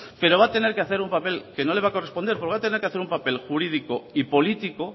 pero va a tener que hacer un papel que no le va a corresponder porque va a tener que hacer un papel jurídico y político